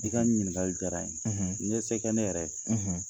I ka ɲininkali diyara n ye, n 'i ye se kɛ ne yɛrɛ ye